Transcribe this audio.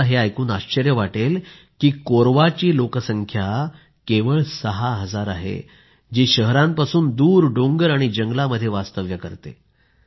तुम्ही हे ऐकून हैराण व्हाल की कोऱवाची लोकसंख्या केवळ 6 हजार आहे जी शहरांपासून दूर डोंगर आणि जंगलांमध्ये वास्तव्य करते